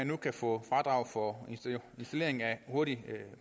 nu kan få fradrag for installering af hurtigt